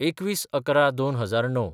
२१/११/२००९